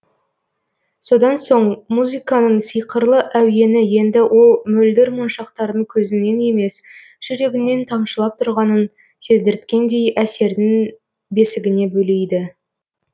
содан соң музыканың сиқырлы әуені енді ол мөлдір моншақтардың көзіңнен емес жүрегіңнен тамшылап тұрғанын сездірткендей әсердің бесігіне бөлейді